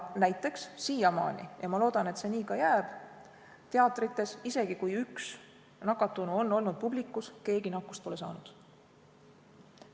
Näiteks, siiamaani teatrites – ja ma loodan, et see nii ka jääb –, isegi kui on üks nakatunu olnud publiku hulgas, keegi nakkust pole saanud.